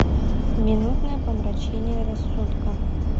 минутное помрачение рассудка